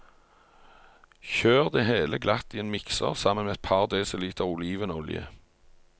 Kjør det hele glatt i en mikser sammen med et par desiliter olivenolje.